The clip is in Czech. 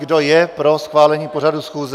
Kdo je pro schválení pořadu schůze?